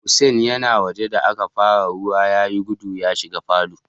Hussain ya na waje da aka fara ruwan, ya yi guda ya shiga falo.